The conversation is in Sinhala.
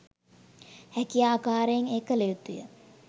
හැකි ආකාරයෙන් එය කළ යුතුය.